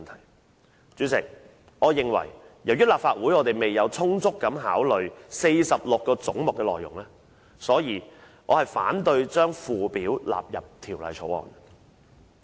代理主席，由於立法會未有充分考慮46個總目的內容，所以我反對將附表納入《2018年撥款條例草案》。